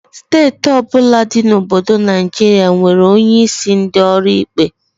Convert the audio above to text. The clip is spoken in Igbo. Steeti ọbụla dị na obodo Naijiria nwere onye isi ndị ọrụ ikpe